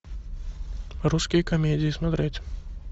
русские комедии смотреть